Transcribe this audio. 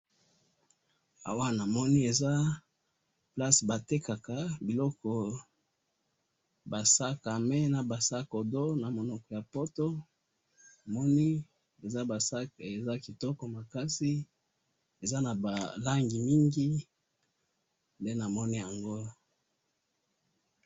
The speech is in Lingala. awa na moni eza place ba tekaka ba sac a main